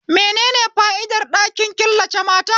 Menene fa'idar ɗakin killace mata?